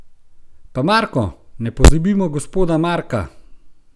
Pa Marko, ne pozabimo gospoda Marka!